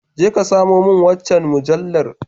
Je ka samo min wancan mujallar.